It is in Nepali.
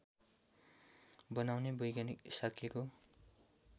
बनाउने वैज्ञानिक शाक्यको